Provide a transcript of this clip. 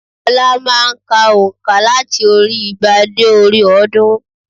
Ọlá má a n ka ònkà láti orí i igba dé orí i ọ̀ọ́dúnrún